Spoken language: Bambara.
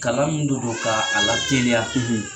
Kalan min de do kaa a lateliya